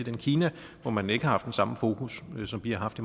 i kina hvor man ikke har haft den samme fokus som vi har haft